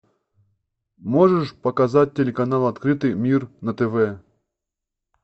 можешь показать телеканал открытый мир на тв